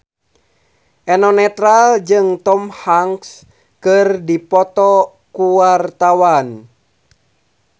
Eno Netral jeung Tom Hanks keur dipoto ku wartawan